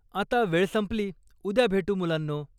आता वेळ संपली! उद्या भेटू, मुलांनो!